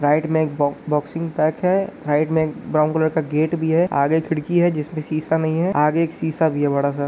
right में एक boxing pack है| राइट में एक ब्राउन कलर का गेट भी है| आगे में एक खिड़की है जिसमे सीसा नहीं है| आगे एक सीसा भी है बड़ा सा|